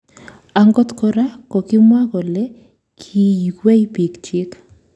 Angot kora kokimwaa kole kiiywei piik. chiik